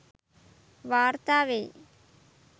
වාර්තා වෙයි